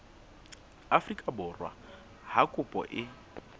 afrika borwa ha kopo e